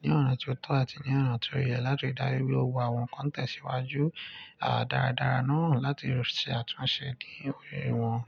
ní ọ̀nà tí ó tọ́ àti ní ọ̀nà tí ó yẹ láti dárí i wẹ́ òwò àwọn ń kán tẹ̀síwájú, àá daradara náà láti ṣe àtúnṣe ní òrìṣiríṣi ìwà.